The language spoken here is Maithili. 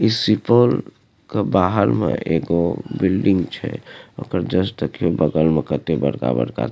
इस सिपौल क बहार म एगो बिल्डिंग छे ओकर जस्ट देखि बगल में कत्ते बड़का-बड़का --